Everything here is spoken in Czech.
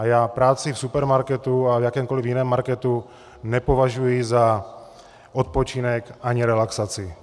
A já práci v supermarketu a v jakémkoliv jiném marketu nepovažuji za odpočinek ani relaxaci.